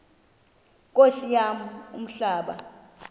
nkosi yam umhlaba